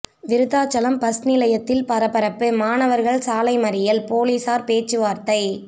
Virudhachalam bus நிலையத்தில் பரபரப்பு மாணவர்கள் சாலை மறியல் போலீசார் பேச்சுவார்த்தை